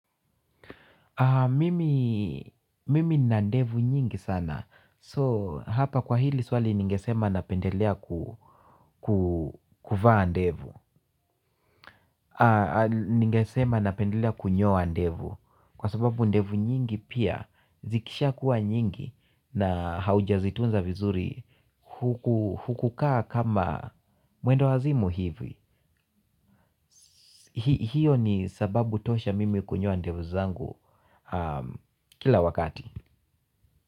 Mimi nina ndevu nyingi sana so hapa kwa hili swali ningesema napendelea kuvaa ndevu. Ningesema napendelea kunyoa ndevu kwa sababu ndevu nyingi pia zikishakuwa nyingi na haujazitunza vizuri hukukaa kama mwenda wazimu hivi. Hio ni sababu tosha mimi kunyoa ndevu zangu kila wakati.